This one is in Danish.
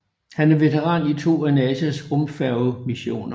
Han er veteran i to af NASAs rumfærgemissioner